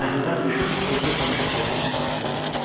Səhnədən düşüb özünü tamaşaçıların arasına verdi.